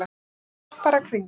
Hún er skopparakringla.